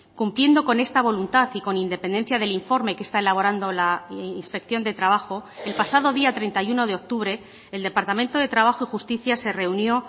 cumpliendo con esta voluntad y con independencia del informe que está elaborando la inspección de trabajo el pasado día treinta y uno de octubre el departamento de trabajo y justicia se reunió